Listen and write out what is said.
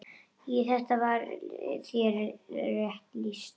Þar var þér rétt lýst!